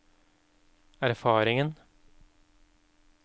erfaringen